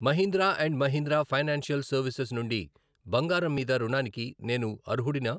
Mahindra and Mahindra financial services నుండి బంగారం మీద రుణానికి నేను అర్హుడినా?